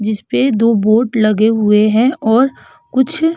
जिसपे दो बोट लगे हुए हैं और कुछ --